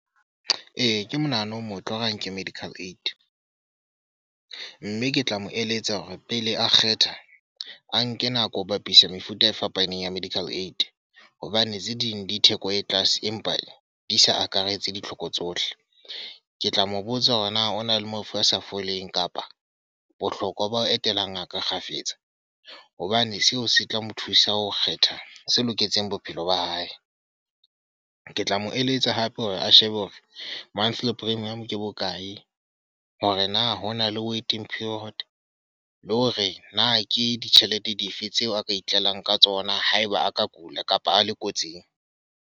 Ee, ke monahano o motle wa hore a nke medical aid. Mme ke tla mo eletsa hore pele a kgetha, a nke nako ho bapisa mefuta e fapaneng ya medical aid. Hobane tse ding di theko e tlase, empa e di sa akaretse ditlhoko tsohle. Ke tla mo botsa hore na o na le mafu a sa foleng kapa bohlokwa ba ho etela ngaka kgafetsa. Hobane seo se tla mo thusa ho kgetha se loketseng bophelo ba hae. Ke tla mo eletsa hape hore a shebe hofe monthly premium ke bokae, hore na hona le waiting period. Le hore na ke ditjhelete dife tseo a ka itlelang ka tsona haeba a ka kula kapa a le kotsing.